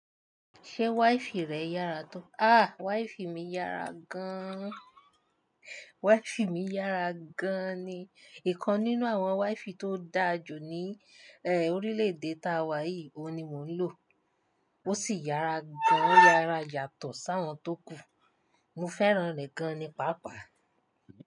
Ṣé wáìfì rẹ yára tó? Ah! Wáìfì mi yára gán. Waìfì mi yára gán ni. Ìkan nínú àwọn wáìfì tó dáa jù ní eh, orílè-èdè táa wa yìí, òun ni mò ń lò. Ó sì yára gán, o yára yàtọ̀ sáwọn tó kù. Mo fẹ́ràn rẹ̀ gán ni pàápàá.